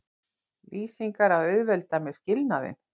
lýsingar að auðvelda mér skilnaðinn.